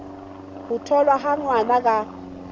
ho tholwa ha ngwana ka